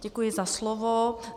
Děkuji za slovo.